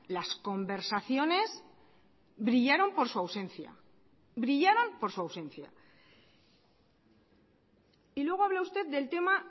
las conversaciones brillaron por su ausencia brillaron por su ausencia y luego habla usted del tema